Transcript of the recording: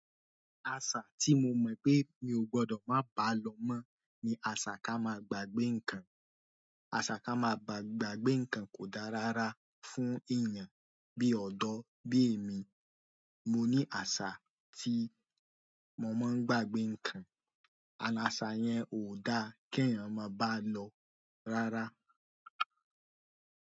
Àṣà tí mo mọ̀ pé mi ò gbọdọ̀ má bá lọ mọ́ ni àṣà ká máa gbàgbé ǹkan. Àṣà ká máa gbàgbé ǹkan kò dá rárá fún èèyàn bí ọ̀dọ́ bí èmi. Mo ní àṣà tí mo máa ń gbàgbé ǹkan. Àṣà yẹn ò dá kí èèyàn máa bá lọ rárá.